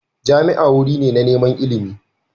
Jami'a wuri ne na neman ilimi